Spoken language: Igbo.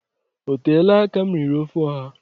Oteela aka m riri ofe ọha